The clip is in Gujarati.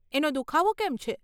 એનો દુખાવો કેમ છે?